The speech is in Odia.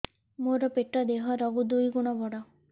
ମୋର ପେଟ ଦେହ ର ଦୁଇ ଗୁଣ ବଡ